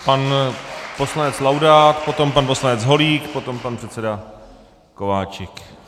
Pan poslanec Laudát, potom pan poslanec Holík, potom pan předseda Kováčik.